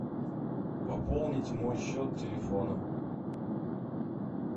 пополнить мой счет телефона